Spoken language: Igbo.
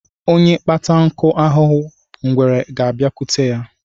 Onye kpata nkụ ahụhụ, ngwere a bịakwute ya